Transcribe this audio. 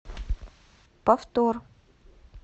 повтор